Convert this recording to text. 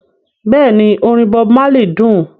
Bẹ́ẹ̀ni orin Bob Marley dún